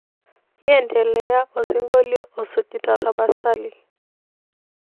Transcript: iendelea osingolio osujita tapasali